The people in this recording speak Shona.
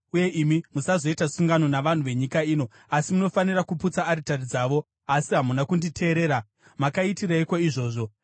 uye imi musazoita sungano navanhu venyika ino, asi munofanira kuputsa aritari dzavo.’ Asi hamuna kunditeerera. Makaitireiko izvozvo?